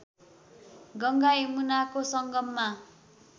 गङ्गा यमुनाको सङ्गममा